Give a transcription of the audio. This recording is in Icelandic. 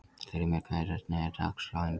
Þrymir, hvernig er dagskráin í dag?